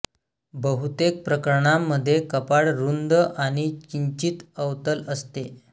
बहुतेक प्रकरणांमध्ये कपाळ रुंद आणि किंचित अवतल असते